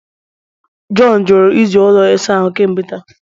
John jụrụ iji ụlọ ịsa ahụ kemgbe taa